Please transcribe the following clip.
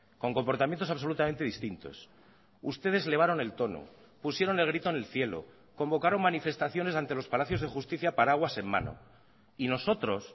con comportamientos absolutamente distintos ustedes elevaron el tono pusieron el grito en el cielo convocaron manifestaciones ante los palacios de justicia paraguas en mano y nosotros